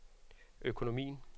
økonomien